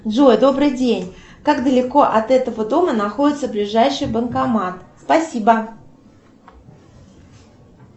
джой добрый день как далеко от этого дома находится ближайший банкомат спасибо